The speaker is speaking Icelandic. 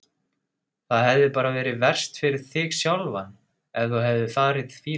Það hefði bara verið verst fyrir þig sjálfan ef þú hefðir farið fýluferð.